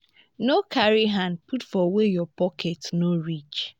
no carry hand put for where your pocket no reach